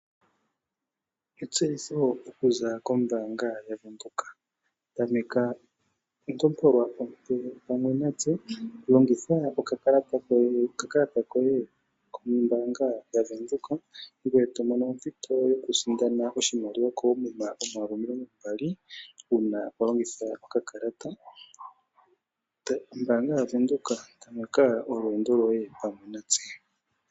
Etseyitho okuza kombaanga yaVenduka. Tameka ontopolwa ompe pamwe natse Longitha okakalata koye kombaanga yaVenduka ngoye tomono ompito yokusindana oshimaliwa koomuma omayovi omilongo mbali uuna walongitha okakalata. Ombaanga ya Venduka nolwendo pamwe natse.